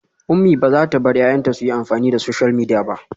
Umi bazata bar 'ya'yanta suyi amfani da social media ba